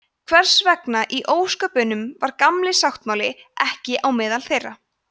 hvers vegna í ósköpunum var „gamli sáttmáli“ ekki á meðal þeirra